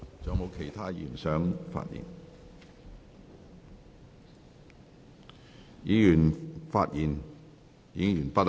議員已發言完畢。